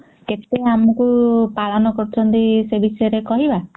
କେତେ ଆମକୁ ପାଳନ କରୁଛନ୍ତି ସେ ବିଷୟରେ କହିବା